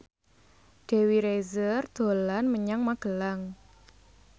Dewi Rezer dolan menyang Magelang